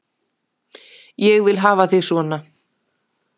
Ég vil hafa þig svona.